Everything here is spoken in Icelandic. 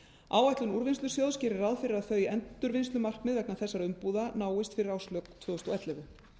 áætlun úrvinnslusjóðs gerir ráð fyrir að þau endurvinnslumarkmið vegna þessara umbúða náist fyrir árslok tvö þúsund og ellefu